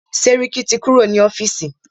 Sẹ́ríkí ti kúrò ní ọ́fìsì.